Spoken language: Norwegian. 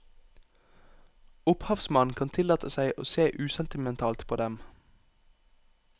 Opphavsmannen kan tillate seg å se usentimentalt på dem.